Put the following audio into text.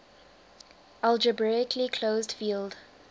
algebraically closed field